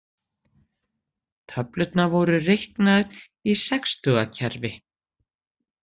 Töflurnar voru reiknaðar í sextugakerfi.